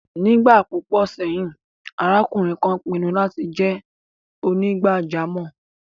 Nígbà púpọ̀ sẹ́yìn, arákùnrin kan pinnu láti jẹ́ onígbàjámọ̀.